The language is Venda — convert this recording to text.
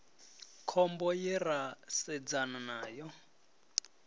khombo ye ra sedzana nayo